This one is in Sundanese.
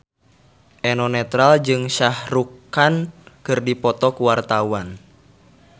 Eno Netral jeung Shah Rukh Khan keur dipoto ku wartawan